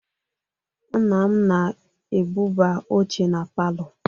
Nna m na-ebuba oche na palọ.